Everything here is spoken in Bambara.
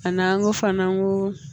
A n'an ko fana an ko